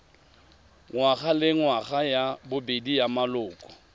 ngwagalengwaga ya bobedi ya maloko